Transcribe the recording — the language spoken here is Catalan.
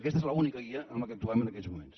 aquesta és l’única guia amb què actuem en aquests moments